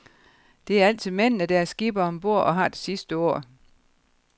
Det er altid mændene, der er skippere om bord og har det sidste ord.